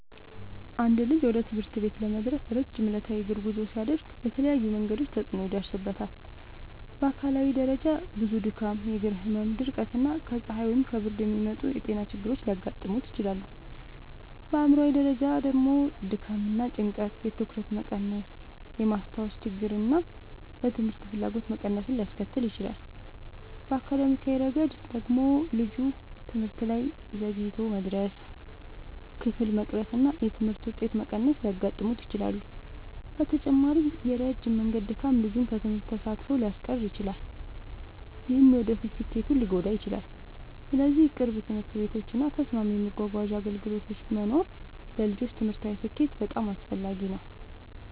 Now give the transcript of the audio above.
አንድ ልጅ ወደ ትምህርት ቤት ለመድረስ ረጅም ዕለታዊ የእግር ጉዞ ሲያደርግ በተለያዩ መንገዶች ተጽዕኖ ይደርስበታል። በአካላዊ ደረጃ ብዙ ድካም፣ የእግር ህመም፣ ድርቀት እና ከፀሐይ ወይም ከብርድ የሚመጡ ጤና ችግሮች ሊያጋጥሙት ይችላሉ። በአእምሯዊ ደረጃ ደግሞ ድካም እና ጭንቀት የትኩረት መቀነስን፣ የማስታወስ ችግርን እና ለትምህርት ፍላጎት መቀነስን ሊያስከትል ይችላል። በአካዳሚያዊ ረገድ ደግሞ ልጁ ትምህርት ላይ ዘግይቶ መድረስ፣ ክፍል መቅረት እና የትምህርት ውጤት መቀነስ ሊያጋጥሙት ይችላሉ። በተጨማሪም የረጅም መንገድ ድካም ልጁን ከትምህርት ተሳትፎ ሊያስቀር ይችላል፣ ይህም የወደፊት ስኬቱን ሊጎዳ ይችላል። ስለዚህ ቅርብ ትምህርት ቤቶች እና ተስማሚ የመጓጓዣ አገልግሎቶች መኖር ለልጆች ትምህርታዊ ስኬት በጣም አስፈላጊ ነው።